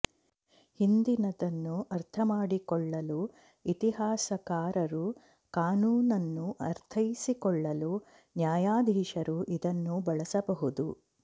ಹಿಂದಿನದನ್ನು ಅರ್ಥಮಾಡಿಕೊಳ್ಳಲು ಇತಿಹಾಸಕಾರರು ಕಾನೂನನ್ನು ಅರ್ಥೈಸಿಕೊಳ್ಳಲು ನ್ಯಾಯಾಧೀಶರು ಇದನ್ನು ಬಳಸಬಹುದು